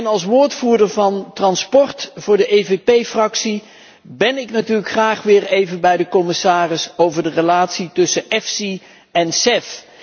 Als woordvoerder voor transport van de EVP Fractie ben ik natuurlijk graag weer even bij de commissaris over de relatie tussen EFSI en CEF.